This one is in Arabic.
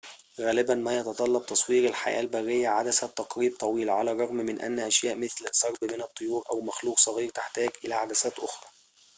غالبًا ما يتطلب تصوير الحياة البرية عدسة تقريب طويلة على الرغم من أن أشياء مثل سرب من الطيور أو مخلوق صغير تحتاج إلى عدسات أخرى